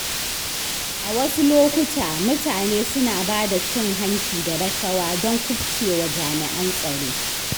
A wasu lokuta, mutane suna ba da cin hanci da rashawa don kufcewa jami'an tsaro.